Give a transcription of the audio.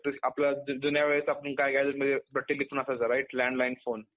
आपलं जुन्या वेळेत आपण काय घायचो म्हणजे right landline phone.